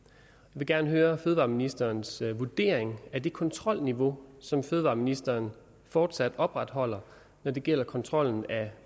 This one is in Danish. vil gerne høre fødevareministerens vurdering af det kontrolniveau som fødevareministeren fortsat opretholder når det gælder kontrollen af